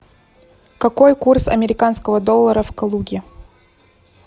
какой курс американского доллара в калуге